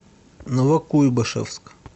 новокуйбышевск